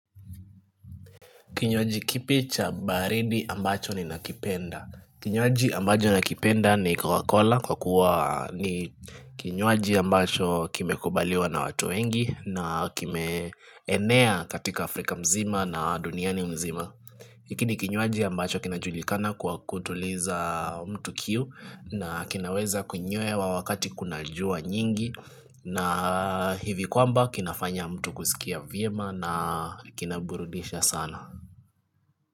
Kinyoaji kipi cha baridi ambacho ninakipenda Kinyoaji ambacho nakipenda ni cocacola kwa kuwa ni kinyoaji ambacho kimekubaliwa na watu wengi na kimeenea katika Afrika mzima na duniani mzima hiki ni kinyoaji ambacho kina julikana kwa kutuliza mtu kiu na kinaweza kunyewa wakati kuna jua nyingi na hivi kwamba kinafanya mtu kusikia viema na kinaburudisha sana.